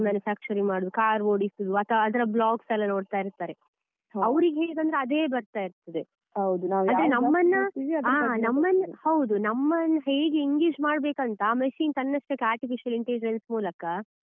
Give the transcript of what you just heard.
ಮಾಡುದು car ಓಡಿಸುದು ಅಥವಾ ಅದರ logs ಯೆಲ್ಲಾ ನೋಡ್ತಾ ಇರ್ತಾರೆ ಅವ್ರಿಗೆ ಹೇಗಂದ್ರೆ ಅದೇ ಬರ್ತಾ ಇರ್ತದೆ ಹ ನಮ್ಮನ್ನ ಹೌದು ನಮ್ಮನ್ ಹೇಗೆ engage ಮಾಡ್ಬೇಕಂತ machine ತನ್ನಷ್ಟಕ್ಕೆ artificial intelligence ಮೂಲಕ.